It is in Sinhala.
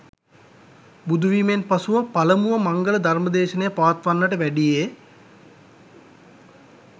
බුදුවීමෙන් පසුව පළමුව මංගල ධර්ම දේශනය පවත්වන්නට වැඩියේ